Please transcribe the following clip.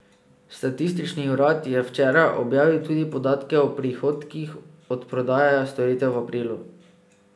Statistični urad je včeraj objavil tudi podatke o prihodkih od prodaje storitev v aprilu.